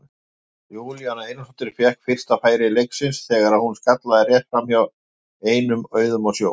Júlíana Einarsdóttir fékk fyrsta færi leiksins þegar hún skallaði rétt framhjá ein á auðum sjó.